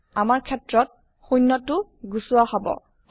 আমাৰ ক্ষেত্ৰত শুণ্য টো গুচোৱা হব